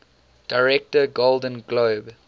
director golden globe